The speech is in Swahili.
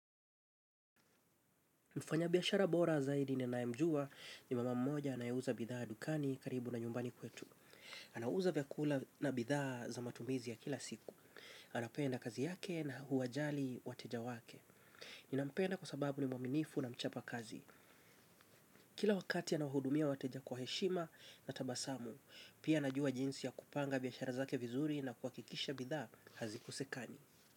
Mfanya biashara bora zaidi nenayemjua ni mama mmoja anayeuza bidhaa dukani karibu na nyumbani kwetu. Anauza vyakula na bidhaa za matumizi ya kila siku. Anapenda kazi yake na huwajali wateja wake. Ninampenda kwa sababu ni mwaminifu na mchapa kazi. Kila wakati anahudumia wateja kwa heshima na tabasamu. Pia najua jinsi ya kupanga biashara zake vizuri na kuhakikisha bidhaa hazikosekani.